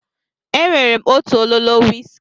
E nwere m otu ololo wiski.